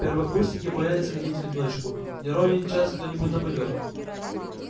первокурсники боялись ходить в одиночку не ровен час кто-нибудь нападёт